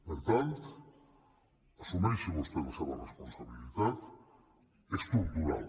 per tant assumeixi vostè la seva responsabilitat estructural